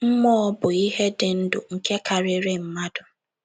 Mmụọ bụ ihe dị ndụ nke karịrị mmadụ.